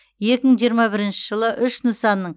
екі мың жиырма бірінші жылы үш нысанның